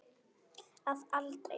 Að aldrei.